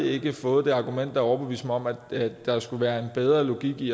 ikke fået det argument der har overbevist mig om at der skulle være en bedre logik i